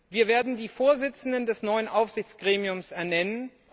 Wir werden die Vorsitzenden des neuen Aufsichtsgremiums ernennen.